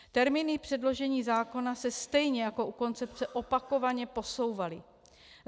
Termíny předložení zákona se stejně jako u koncepce opakovaně posouvaly.